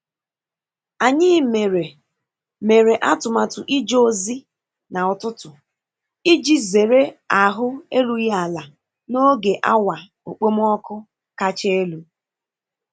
Anyị mere mere atụmatụ ije ozi na ụtụtụ iji zere ahụ erughị ala n'oge awa okpomọkụ kacha elu.